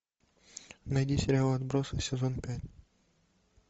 найди сериал отбросы сезон пять